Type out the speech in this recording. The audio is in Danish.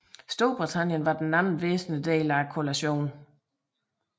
Storbritannien var den anden væsentlige del af koalitionen